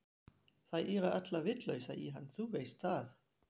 Þær eru allar vitlausar í hann, þú veist það.